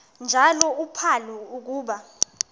njalo uphalo akuba